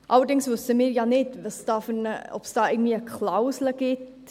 Allerdings wissen wir nicht, ob es da irgendwie eine Klausel gibt.